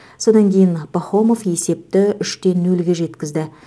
содан кейін пахомов есепті үш те нөлге жеткізді